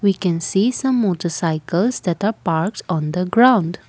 we can see some motorcycles that are parked on the ground.